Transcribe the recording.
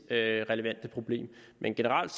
relevante problem men generelt